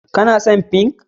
Kuna son Pink?